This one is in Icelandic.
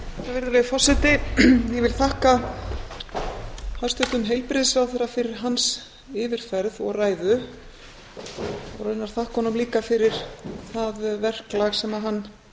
virðulegi forseti ég vil þakka hæstvirtum heilbrigðisráðherra fyrir hans yfirferð og ræðu og raunar þakka honum líka fyrir það verklag sem hann